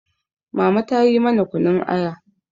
mama ta yi mana kunun Aya